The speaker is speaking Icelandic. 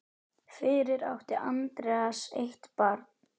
Fyrir átti Andreas eitt barn.